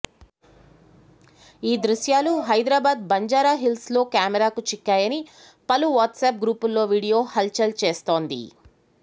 ఈ దృశ్యాలు హైదరాబాద్ బంజారాహిల్స్లో కెమెరాకు చిక్కాయని పలు వాట్సప్ గ్రూపుల్లో వీడియో హల్చల్ చేస్తోంది